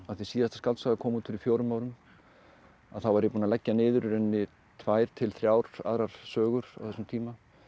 síðasta skáldsaga kom út fyrir fjórum árum að þá var ég búinn að leggja niður í rauninni tvær til þrjár aðrar sögur á þessum tíma